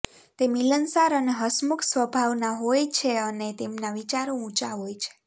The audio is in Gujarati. તે મિલનસાર અને હસમુખ સ્વભાવના હોય છે અને તેમના વિચારો ઊંચા હોય છે